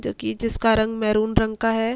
जो कि जिसका रंग मैंरून रंग का है।